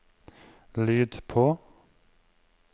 lyd på